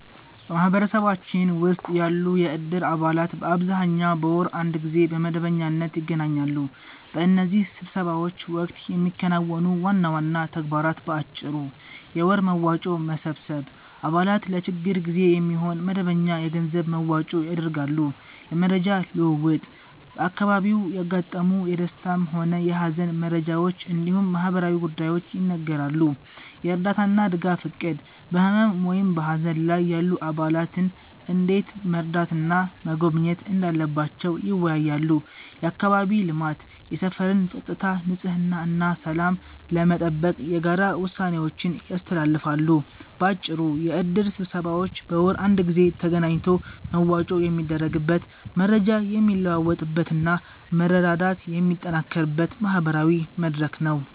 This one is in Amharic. በማህበረሰባችን ውስጥ ያሉ የእድር አባላት በአብዛኛው በወር አንድ ጊዜ በመደበኛነት ይገናኛሉ። በእነዚህ ስብሰባዎች ወቅት የሚከናወኑ ዋና ዋና ተግባራት በአጭሩ፦ የወር መዋጮ መሰብሰብ፦ አባላት ለችግር ጊዜ የሚሆን መደበኛ የገንዘብ መዋጮ ያደርጋሉ። የመረጃ ልውውጥ፦ በአካባቢው ያጋጠሙ የደስታም ሆነ የሃዘን መረጃዎች እንዲሁም ማህበራዊ ጉዳዮች ይነገራሉ። የእርዳታና ድጋፍ እቅድ፦ በህመም ወይም በሃዘን ላይ ያሉ አባላትን እንዴት መርዳትና መጎብኘት እንዳለባቸው ይወያያሉ። የአካባቢ ልማት፦ የሰፈርን ፀጥታ፣ ንጽህና እና ሰላም ለመጠበቅ የጋራ ውሳኔዎችን ያስተላልፋሉ። ባጭሩ፤ የእድር ስብሰባዎች በወር አንድ ጊዜ ተገናኝቶ መዋጮ የሚደረግበት፣ መረጃ የሚለዋወጥበት እና መረዳዳት የሚጠናከርበት ማህበራዊ መድረክ ነው።